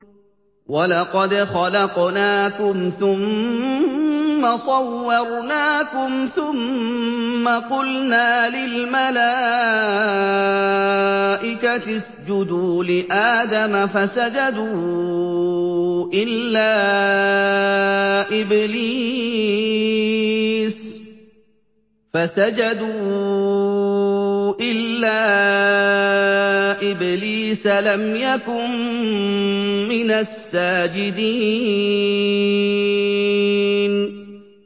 وَلَقَدْ خَلَقْنَاكُمْ ثُمَّ صَوَّرْنَاكُمْ ثُمَّ قُلْنَا لِلْمَلَائِكَةِ اسْجُدُوا لِآدَمَ فَسَجَدُوا إِلَّا إِبْلِيسَ لَمْ يَكُن مِّنَ السَّاجِدِينَ